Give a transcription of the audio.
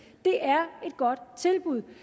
det er et godt tilbud